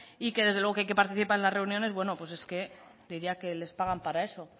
y que desde luego que hay que participar en las reuniones bueno pues diría que les pagan para eso